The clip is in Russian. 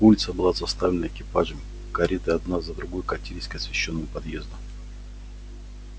улица была заставлена экипажами кареты одна за другою катились к освещённому подъезду